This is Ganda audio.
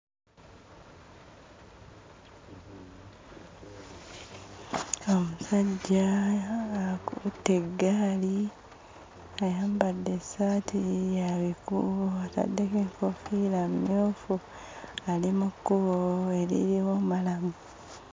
Omusajja akutte eggaali, ayambadde essaati ya bikuubo, ataddeko enkoofiira emmyufu, ali mu kkubo eririmu mmalamu.